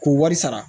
K'u wari sara